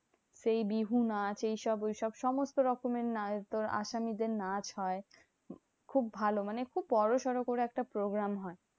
সেই বিহু নাচ ঐসব ওইসব সমস্ত রকমের নাচ তোর আসামি দের নাচ হয়। খুব ভালো মানে খুব বড়োসড়ো করে একটা program হয়।